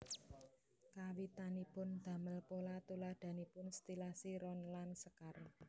Kawitanipun damel pola tuladhanipun stilasi ron lan sekar